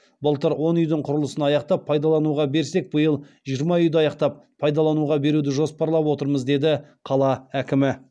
былтыр он үи дің құрылысын аяқтап паи далануға берсек быи ыл жиырма үи ді аяқтап паи далануға беруді жоспарлап отырмыз деді қала әкімі